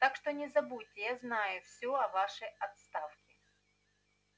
так что не забудьте я знаю всё о вашей отставке